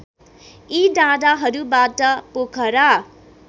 यी डाँडाहरूबाट पोखरा